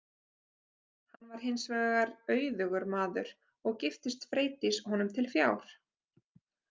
Hann var hins vegar auðugur maður og giftist Freydís honum til fjár.